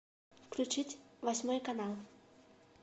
включить восьмой канал